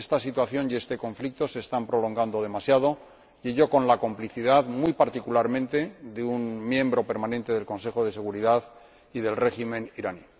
Esta situación y este conflicto se están prolongando demasiado, en mi opinión, con la complicidad, muy particularmente, de un miembro permanente del Consejo de Seguridad y del régimen iraní.